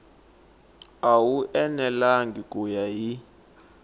wu enelangi ku ya hi